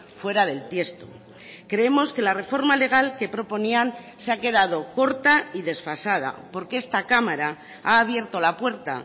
fuera del tiesto creemos que la reforma legal que proponían se ha quedado corta y desfasada porque esta cámara ha abierto la puerta